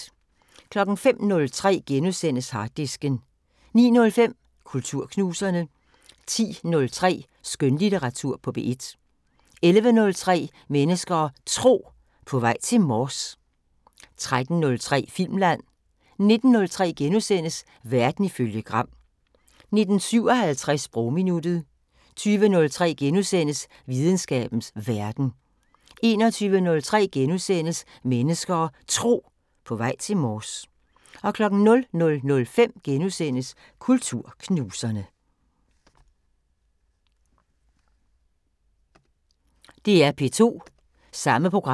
05:03: Harddisken * 09:05: Kulturknuserne 10:03: Skønlitteratur på P1 11:03: Mennesker og Tro: På vej til Mors 13:03: Filmland 19:03: Verden ifølge Gram * 19:57: Sprogminuttet 20:03: Videnskabens Verden * 21:03: Mennesker og Tro: På vej til Mors * 00:05: Kulturknuserne *